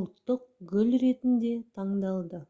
ұлттық гүл ретінде таңдалды